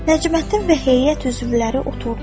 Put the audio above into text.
Nəcməddin və heyət üzvləri oturdular.